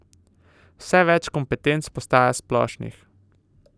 Vse več kompetenc postaja splošnih.